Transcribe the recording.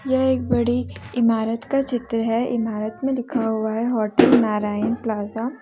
यह एक बड़ी इमारत का चित्र है इमारत में लिखा हुआ है होटल नारायण प्लाजा ।